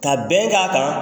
Ka bɛn k'a kan